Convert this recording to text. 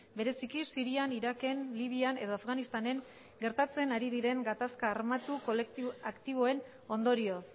bereziki sirian iraken libian edo afganistanen gertatzen ari diren gatazka armatu kolektibo aktiboen ondorioz